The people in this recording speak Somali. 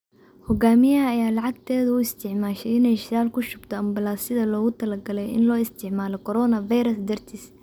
Hogaamiyaha ayaa lacagteeda u isticmaashay inay shidaal kushubto ambalaasyada loogu talagalay in loo isticmaalo coronavirus dartiis.